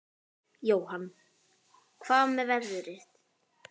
Jóhann: Hvað með veðrið?